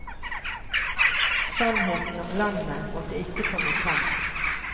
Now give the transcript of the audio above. Sannheten om landet, måtte ikke komme frem.